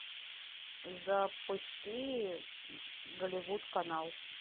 запусти голливуд канал